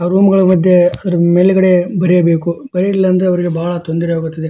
ಆ ರೂಮ್ಗಳ ಮಧ್ಯೆ ಮೇಲ್ಗಡೆ ಬರಿಯಬೇಕು ಬರಿಲಿಲ್ಲ ಅಂದ್ರೆ ಅವರಿಗೆ ಬಹಳ ತೊಂದರೆ ಆಗುತ್ತದೆ.